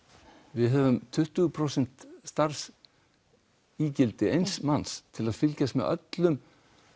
við höfum tuttugu prósent starfsígildi eins manns til að fylgjast með öllum